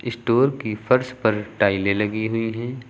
Store की फर्श पर टाइलें लगी हुई हैं।